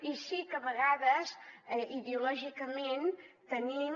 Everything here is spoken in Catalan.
i sí que a vegades ideològicament tenim